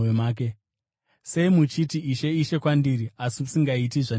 “Sei muchiti, ‘Ishe, Ishe,’ kwandiri asi musingaiti zvandinoreva?